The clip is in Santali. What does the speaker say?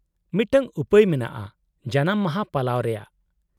-ᱢᱤᱫᱴᱟᱝ ᱩᱯᱟᱹᱭ ᱢᱮᱱᱟᱜᱼᱟ ᱡᱟᱱᱟᱢ ᱢᱟᱦᱟ ᱯᱟᱞᱟᱣ ᱨᱮᱭᱟᱜ ᱾